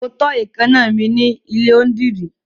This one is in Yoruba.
Mo tọ́ èékáná mi ní ilé onídìrí.